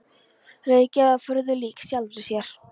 Reykjavík var furðu lík sjálfri sér.